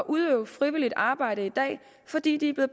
udøve frivilligt arbejde fordi de